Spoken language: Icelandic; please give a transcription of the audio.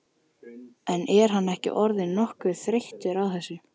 En er hann ekki orðinn nokkuð þreyttur á þessu?